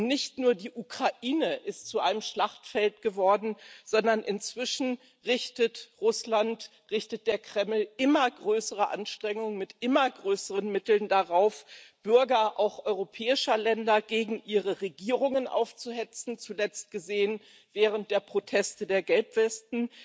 Nicht nur die Ukraine ist zu einem Schlachtfeld geworden, sondern inzwischen richtet Russland, richtet der Kreml immer größere Anstrengungen mit immer größeren Mitteln darauf, auch Bürger europäischer Länder gegen ihre Regierungen aufzuhetzen zuletzt gesehen während der Proteste der Gelbwesten.